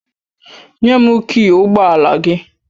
Nye m kịị ụgbọ ala gị!